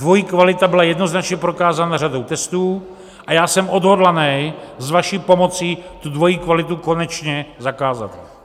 Dvojí kvalita byla jednoznačně prokázána řadou testů a já jsem odhodlaný s vaší pomocí tu dvojí kvalitu konečně zakázat.